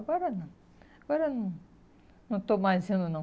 Agora não, agora não, não estou mais indo, não.